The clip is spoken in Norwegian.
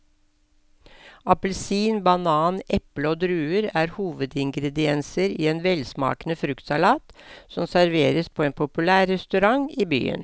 Appelsin, banan, eple og druer er hovedingredienser i en velsmakende fruktsalat som serveres på en populær restaurant i byen.